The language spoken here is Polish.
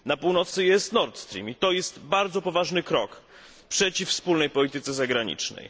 Na północy jest Nordstream i to jest bardzo poważny krok przeciw wspólnej polityce zagranicznej.